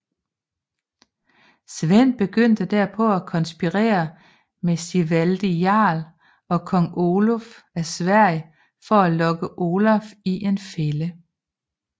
Svend begyndte derpå at konspirere med Sigvaldi Jarl og kong Oluf af Sverige for at lokke Olaf i en fælde